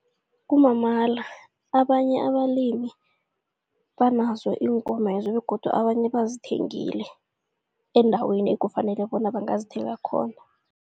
Kumamala abanye abalimi banazo iinkomezo begodu abanye bazithengile endaweni ekufanele bona bangazithenga khona.